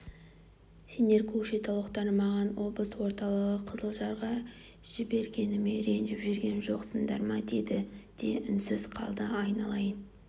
сендер көкшетаулықтар маған облыс орталығын қызылжарға жібергеніме ренжіп жүрген жоқсыңдар ма деді де үнсіз қалды айналайын